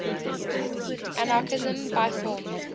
anarchism by form